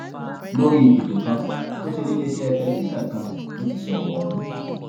lórí ètò kan tó ṣe níléeṣẹ television kan ló ti sọrọ ọhún